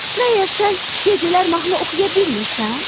Məgər sən gecələr də mahnı oxuya bilmirsən?